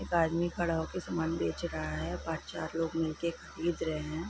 एक आदमी खड़ा हो कर सामान बेच रहा है| पाँच चार लोग मिल के खरीद रहे है।